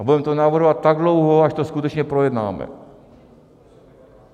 A budeme to navrhovat tak dlouho, až to skutečně projednáme.